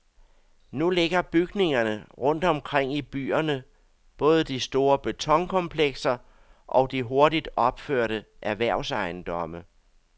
Nu ligger bygningerne rundt omkring i byerne, både de store betonkomplekser og de hurtigt opførte erhvervsejendomme.